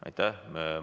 Aitäh!